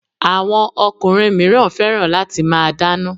Àwọn ọkùnrin míràn fẹ́ràn láti máa dana